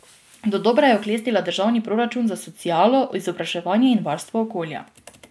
Dodobra je oklestila državni proračun za socialo, izobraževanje in varstvo okolja.